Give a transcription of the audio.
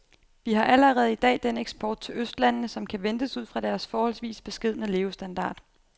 Vi har allerede i dag den eksport til østlandene, som kan ventes ud fra deres forholdsvis beskedne levestandard.